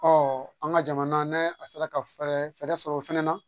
an ka jamana n'a a sera ka fɛɛrɛ sɔrɔ o fɛnɛ na